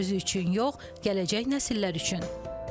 Özü üçün yox, gələcək nəsillər üçün.